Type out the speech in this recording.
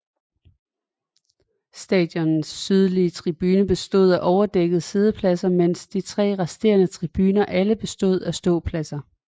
Stadionets sydlige tribune bestod af overdækkede siddepladser mens de tre resterende tribuner alle bestod af ståpladser